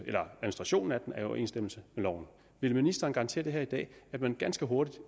overensstemmelse med loven vil ministeren garantere her i dag at man ganske hurtigt